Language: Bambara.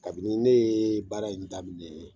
Kabini ne yee baara in daminɛɛ